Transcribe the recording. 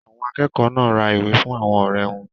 Àwọn akẹ́kọ̀ọ́ náà ra ìwé fún àwọn ọ̀rẹ́ wọn.